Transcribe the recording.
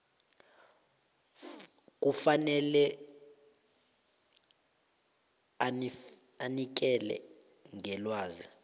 kufanele anikele ngelwazi